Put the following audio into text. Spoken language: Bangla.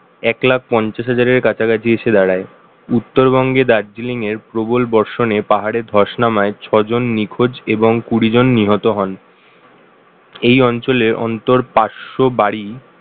এক লাখ পঞ্চাশ হাজারের কাছাকাছি এসে দাঁড়ায় উত্তরবঙ্গে দার্জিলিং এর প্রবল বর্ষণে পাহাড়ে ধস নামায় ছ জন নিখোঁজ এবং কুড়িজন নিহত হন । এই অঞ্চলের অন্তর পাঁচশো বাড়ি